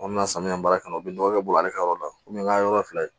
An bɛna samiya baara kɛ ka ɲɛ u bɛ nɔgɔ kɛ bolo ale ka yɔrɔ la n'a ye yɔrɔ fila ye